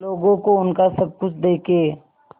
लोगों को उनका सब कुछ देके